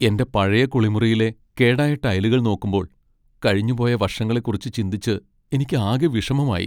എന്റെ പഴയ കുളിമുറിയിലെ കേടായ ടൈലുകൾ നോക്കുമ്പോൾ, കഴിഞ്ഞുപോയ വർഷങ്ങളെക്കുറിച്ച് ചിന്തിച്ച് എനിക്ക് ആകെ വിഷമമായി.